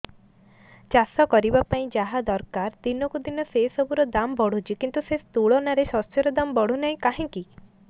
ଚାଷ କରିବା ପାଇଁ ଯାହା ଦରକାର ଦିନକୁ ଦିନ ସେସବୁ ର ଦାମ୍ ବଢୁଛି କିନ୍ତୁ ସେ ତୁଳନାରେ ଶସ୍ୟର ଦାମ୍ ବଢୁନାହିଁ କାହିଁକି